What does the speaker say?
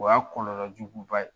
O y'a kɔlɔlɔ juguba ye